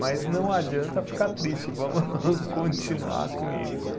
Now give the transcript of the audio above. Mas não adianta ficar triste, vamos continuar com isso.